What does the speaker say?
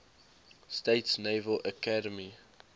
states naval academy